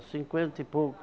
cinquenta e pouco